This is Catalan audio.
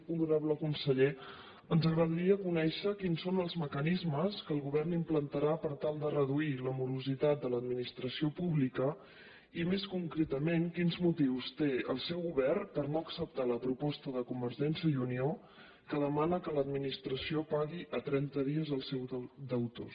honorable conseller ens agradaria conèixer quins són els mecanismes que el govern implantarà per tal de reduir la morositat de l’administració pública i més concretament quins motius té el seu govern per no acceptar la proposta de convergència i unió que demana que l’administració pagui a trenta dies als seus deutors